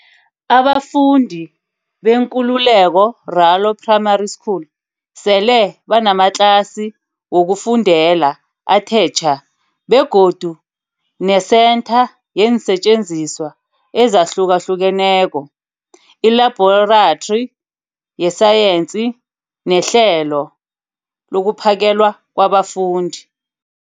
Abafundi beNkululeko Ralo Primary School sele banamatlasi wokufundela athe tjha begodu nesentha yeensetjenziswa ezahlukahlukeneko, ilabhorathri yesayensi, nehlelo lokuphakelwa kwabafundi.